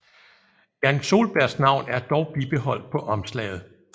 Jan Soelbergs navn er dog bibeholdt på omslaget